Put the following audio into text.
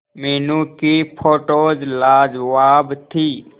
मीनू की फोटोज लाजवाब थी